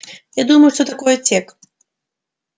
я думаю что такое тёк